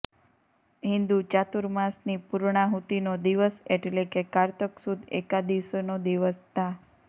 હિન્દુ ચાતુર્માસની પૂર્ણાહુતિનો દિવસ એટલે કે કારતક સુદ એકાદશીનો દિવસ તા